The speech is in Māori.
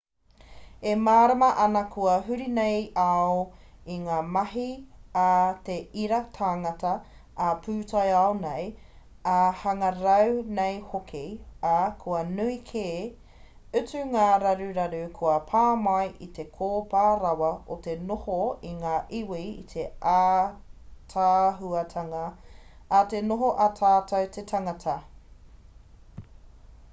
e mārama ana kua huri nei ao i ngā mahi a te ira tangata ā-pūtaiao nei ā-hangarau nei hoki ā kua nui kē atu ngā raruraru kua pā mai i te kōpā rawa o te noho a ngā iwi i te ātaahuatanga a te noho a tatou te tangata